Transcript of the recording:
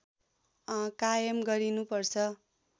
कायम गरिनु पर्छ